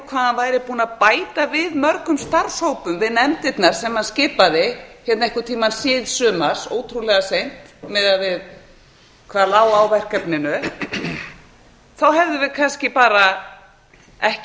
hann væri búinn að bæta mörgum starfshópum við nefndirnar sem hann skipaði einhvern tímann síðsumars ótrúlega seint miðað við hvað lá á verkefninu hefðum við kannski bara ekki